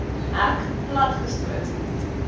hek plat gestoot